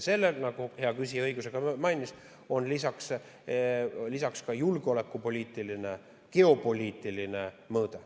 Sellel, nagu hea küsija mainis, on lisaks ka julgeolekupoliitiline, geopoliitiline mõõde.